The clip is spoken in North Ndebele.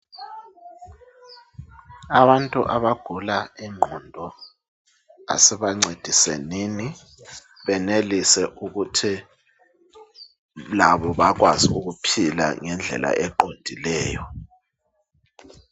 Abantu abagula ingqondo asibancedisenini ukwenzela ukuthi benelise ukuphila ngendlela eqondileyo